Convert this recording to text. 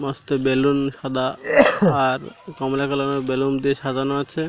মস্তে balloon সাদা আর কমলা কালার -এর বেলুন দিয়ে সাজানো আছে।